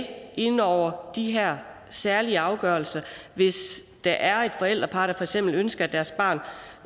inde over de her særlige afgørelser hvis der er et forældrepar der for eksempel ønsker at deres barn